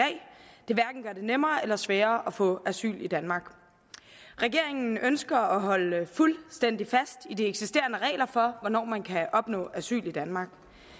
nemmere eller sværere at få asyl i danmark regeringen ønsker at holde fuldstændig fast i de eksisterende regler for hvornår man kan opnå asyl i danmark